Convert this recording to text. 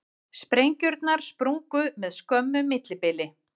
Sprengjurnar sprungu með skömmu millibili